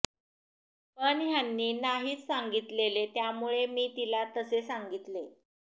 पण ह्यांनी नाहीच सांगितलेले त्यामुळे मी तिला तसे सांगितले